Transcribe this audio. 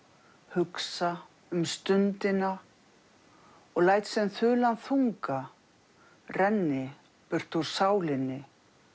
hugsa um stundina og læt sem þulan þunga renni burt úr sálinni